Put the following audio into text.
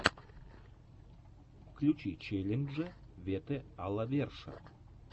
включи челленджи вете а ла верша